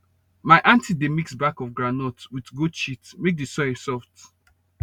my aunty dey mix back of groundnut with goat shit make the soil soft